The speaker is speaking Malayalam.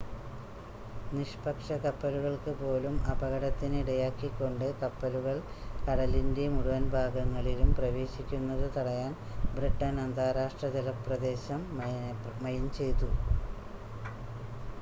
നിഷ്പക്ഷ കപ്പലുകൾക്ക് പോലും അപകടത്തിന് ഇടയാക്കിക്കൊണ്ട് കപ്പലുകൾ കടലിൻ്റെ മുഴുവൻ ഭാഗങ്ങളിലും പ്രവേശിക്കുന്നത് തടയാൻ ബ്രിട്ടൻ അന്താരാഷ്‌ട്ര ജല പ്രദേശം മൈൻ ചെയ്തു